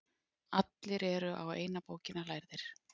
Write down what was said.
Allir eru á eina bókina lærðir.